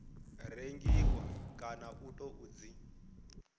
rengiwa kana u tou dzi